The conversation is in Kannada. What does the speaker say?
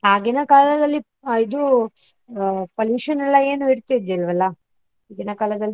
ಆಗಿನ ಕಾಲದಲ್ಲಿ ಇದು, pollution ಎಲ್ಲಾ ಏನು ಇರ್ತಿರ್ಲಿಲ್ವಲ್ಲ ಈಗಿನ ಕಾಲದಲ್ಲಿ?